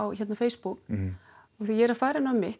Facebook þegar ég er að fara inn á mitt